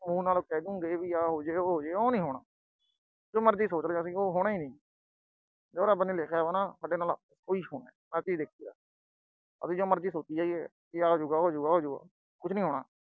ਮੂੰਹ ਨਾਲ ਕਹਿ ਦਿਉਗੇ ਵੀ ਆਹ ਹੋ ਜੇ, ਉਹ ਹੋ ਜੇ, ਉਹ ਨਹੀਂ ਹੋਣਾ। ਜੋ ਮਰਜੀ ਸੋਚ ਲਈਏ ਅਸੀਂ, ਉਹ ਨਹੀਂ ਹੋਣਾ। ਜੋ ਰੱਬ ਨੇ ਲਿਖਿਆ ਸਾਡੇ ਲਈ, ਉਹ ਹੀ ਹੋਣਾ। ਆ ਚੀਜ ਦੇਖੀ ਆ। ਭਾਵੇਂ ਜੋ ਮਰਜੀ ਸੋਚੀ ਜਾਇਏ, ਆ ਹੋਜੂਗਾ, ਉਹ ਹੋਜੂਗਾ, ਉਹ ਹੋਜੂਗਾ, ਕੁਝ ਨੀ ਹੋਣਾ।